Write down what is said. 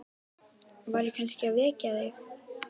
Var ég kannski að vekja þig?